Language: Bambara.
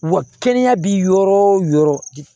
Wa kɛnɛya bi yɔrɔ o yɔrɔ